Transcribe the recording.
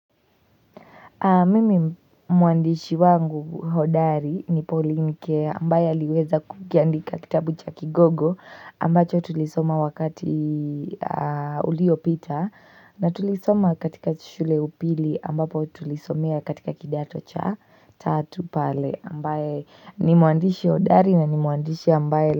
Mimi mwandishi wangu hodari ni pauline keya ambaye aliweza kukiandika kitabu cha kigogo ambacho tulisoma wakati uliopita na tulisoma katika shule upili ambapo tulisomea katika kidato cha tatu pale ambaye ni mwandishi hodari na ni mwandishi ambaye.